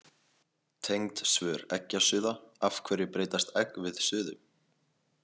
Tengd svör Eggjasuða Af hverju breytast egg við suðu?